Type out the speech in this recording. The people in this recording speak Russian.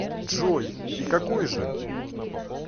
джой и какой же